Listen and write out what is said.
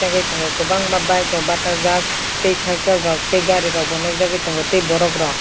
tei tongo kobangma bike rok batak jak tei cycle rok tei gari rok bo nog jagoi tongo tei borok rok.